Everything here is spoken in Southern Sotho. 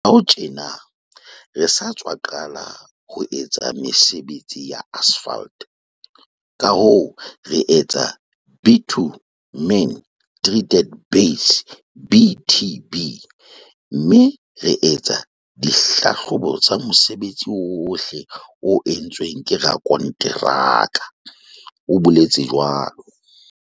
Morao tjena re sa tswa qala ho etsa mesebetsi ya asphalt kahoo re etsa bitumen treated base, BTB, mme re etsa di hlahlobo tsa mosebetsi ohle o entsweng ke rakonteraka, o boletse jwalo.